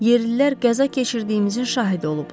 Yerlilər qəza keçirdiyimizin şahidi olublar.